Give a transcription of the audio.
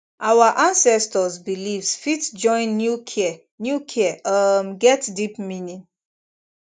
our ancestors beliefs fit join new care new care um get deep meaning